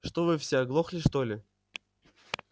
что вы все оглохли что ли